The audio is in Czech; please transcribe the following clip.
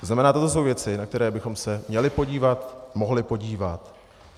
To znamená, to jsou věci, na které bychom se měli podívat, mohli podívat.